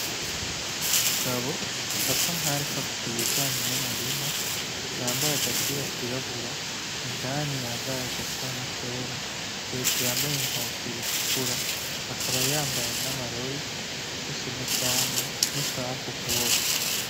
Umugabo asa nkaho ariko avuga ibijanye n'umurima, yambaye agapira kirabura indani yambaye agasa nk'akera hejuru yambaye inkofero utukura akaba yambaye n'amarori afise n'ubwanwa , n'isaha kukuboko.